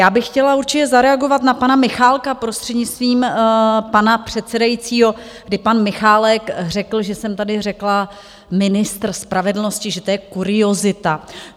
Já bych chtěla určitě zareagovat na pana Michálka, prostřednictvím pana předsedajícího, kdy pan Michálek řekl, že jsem tady řekla ministr spravedlnosti, že to je kuriozita.